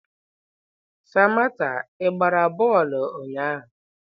Samantha, ị gbara ludo ụnyahụ?